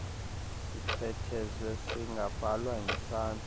sichwethezwe singabhalwa ngesandla